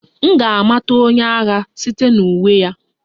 M ga-amata onye agha site na uwe ya